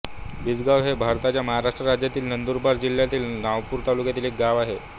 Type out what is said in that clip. बिजगाव हे भारताच्या महाराष्ट्र राज्यातील नंदुरबार जिल्ह्यातील नवापूर तालुक्यातील एक गाव आहे